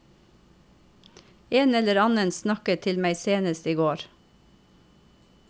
En eller annen snakket til meg senest i går.